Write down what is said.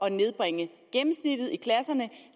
at nedbringe gennemsnittet i klasserne